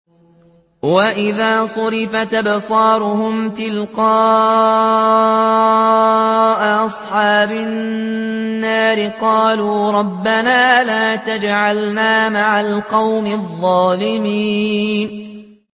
۞ وَإِذَا صُرِفَتْ أَبْصَارُهُمْ تِلْقَاءَ أَصْحَابِ النَّارِ قَالُوا رَبَّنَا لَا تَجْعَلْنَا مَعَ الْقَوْمِ الظَّالِمِينَ